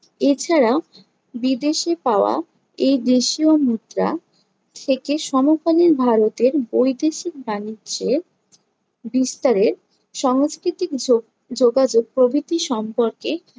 এছাড়াও বিদেশে পাওয়া এই দেশীয় মুদ্রা থেকে সমকালীন ভারতের বৈদেশিক বাণিজ্যের বিস্তারের সংস্কৃতিক যোগ~ যোগাযোগ প্রভৃতি সম্পর্কে